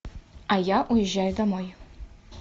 а я уезжаю домой